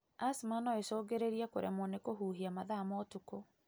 Asthma noĩcungĩrĩre kũremwo nĩ kũhuhia mathaa ma ũtukũ.